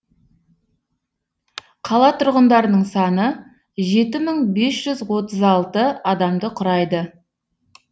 қала тұрғындарының саны жеті мың бес жүз отыз алты адамды құрайды